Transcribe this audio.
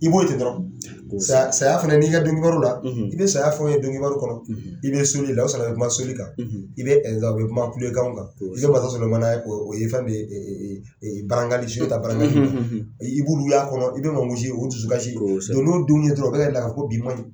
I b'o di dɔrɔn saya fana n'i ka dɔnkibaru la i bɛ saya fɛnw ye dɔnkibaru kɔnɔ i bɛ soli la i bɛ sɔrɔ ka kuma soli kan i bɛ [kan mansa Solomana ye o ye bɛ barangali su bɛ ta barangali min na i b'olu y'a kɔnɔ i bɛ o dusukasi don n'o denw ye dɔrɔn o bɛ la ko bi man ɲi